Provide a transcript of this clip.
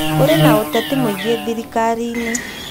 Kũrĩ na ũteti mũingĩ thirikari-inĩ